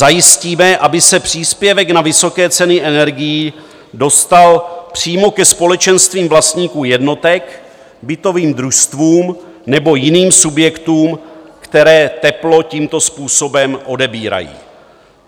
Zajistíme, aby se příspěvek na vysoké ceny energií dostal přímo ke společenstvím vlastníků jednotek, bytovým družstvům nebo jiným subjektům, které teplo tímto způsobem odebírají.